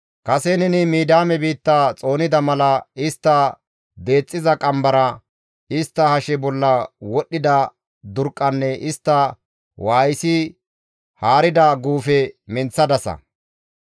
Kase neni Midiyaame biitta xoonida mala istta deexxiza qambara, istta hashe bolla wodhida durqqanne istta waayisi haarida guufe menththadasa.